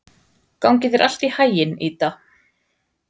Gangi þér allt í haginn, Ída.